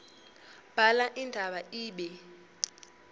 bhala indaba ibe